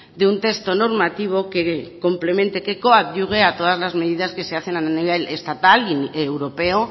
de un texto normativo que complemente que coadyuve a todas las medidas que se hacen a nivel estatal y europeo